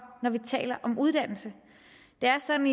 når vi taler om uddannelse det er sådan